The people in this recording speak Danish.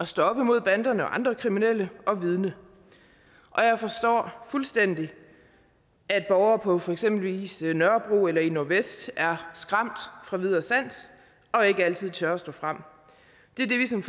stå op imod banderne og andre kriminelle og vidne og jeg forstår fuldstændig at borgere på for eksempel nørrebro eller i nordvest er skræmt fra vid og sans og ikke altid tør at stå frem det er det vi som